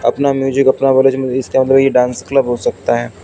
अपना म्यूजिक अपना dance club हो सकता है।